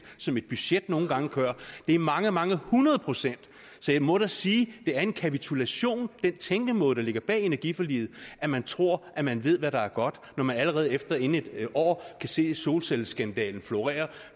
som et budget nogle gange gør det er mange mange hundrede procent så jeg må da sige at det er en kapitulation den tænkemåde der ligger bag energiforliget at man tror at man ved hvad der er godt når man allerede inden et år kan se solcelleskandalen florere